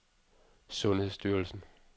sundhedsstyrelsen